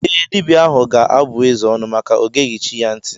Ee, dibia ahụ ga-abụ eze ọnụ maka ọ geghi chi ya nti.